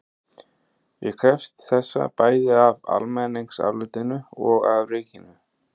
Ég krefst þessa bæði af almenningsálitinu og af ríkinu.